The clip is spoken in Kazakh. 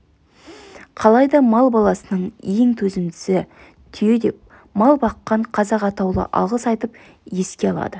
қалайда мал баласының ең төзімдісі түйе деп мал баққан қазақ атаулы алғыс айтып еске алады